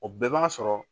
O bɛɛ b'a sɔrɔ